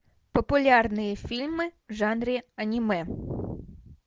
популярные фильмы в жанре аниме